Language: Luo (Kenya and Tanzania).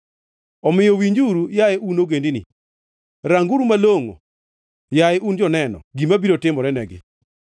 Omiyo winjuru, yaye un ogendini; ranguru malongʼo, yaye un joneno, gima biro timore negi.